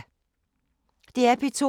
DR P2